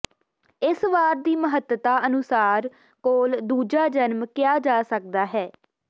ਇਸ ਵਾਰ ਦੀ ਮਹੱਤਤਾ ਅਨੁਸਾਰ ਕੋਲ ਦੂਜਾ ਜਨਮ ਕਿਹਾ ਜਾ ਸਕਦਾ ਹੈ